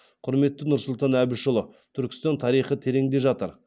құрметті нұрсұлтан әбішұлы түркістан тарихы тереңде жатыр